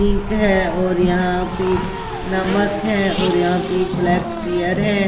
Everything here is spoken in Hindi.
पिंक है और यहां पे नमक है और यहां पे एक ब्लैक चियर है।